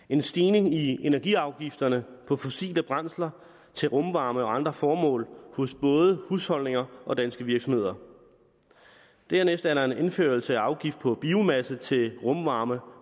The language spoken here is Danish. en stigning i energiafgifterne på fossile brændsler til rumvarme og andre formål hos både husholdninger og danske virksomheder dernæst er der en indførelse af en afgift på biomasse til rumvarme